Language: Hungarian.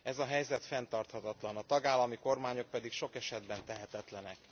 Ez a helyzet fenntarthatatlan, a tagállami kormányok pedig sok esetben tehetetlenek.